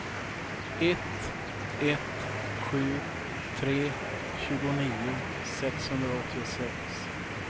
ett ett sju tre tjugonio sexhundraåttiosex